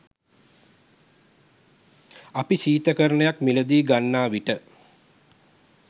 අප ශීතකරණයක් මිළදී ගන්නාවිට